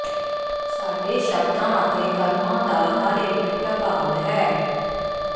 ਸਾਡੇ ਸ਼ਬਦਾਂ ਅਤੇ ਕਰਮਾਂ ਦਾ ਹਰ ਇਕ ਪ੍ਰਭਾਵ ਹੈ